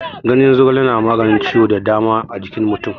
Ganyen zogale na maganin ciwo da dama a jikin mutum.